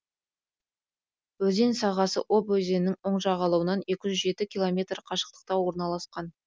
өзен сағасы обь өзенінің оң жағалауынан екі жүз жеті километр қашықтықта орналасқан